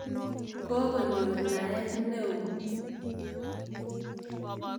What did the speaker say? Ko konyor naet ne oo.